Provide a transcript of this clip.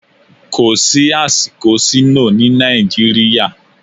Kò sí àsìkò sínóò ní Nàìjíríà.